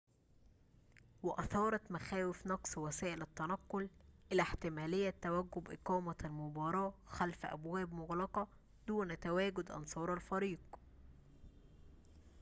وأثارت مخاوف نقص وسائل التنقل إلى احتمالية توجب إقامة المباراة خلف أبواب مغلقة دون تواجد أنصار الفريق